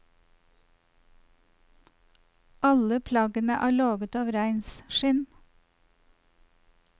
Alle plaggene er laget av reinskinn.